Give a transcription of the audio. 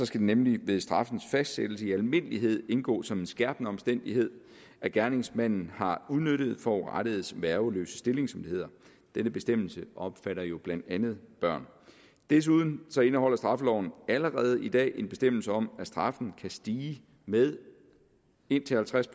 skal det nemlig ved straffens fastsættelse i almindelighed indgå som en skærpende omstændighed at gerningsmanden har udnyttet forurettedes værgeløse stilling som det hedder denne bestemmelse omfatter jo blandt andet børn desuden indeholder straffeloven allerede i dag en bestemmelse om at straffen kan stige med indtil halvtreds